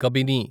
Kabini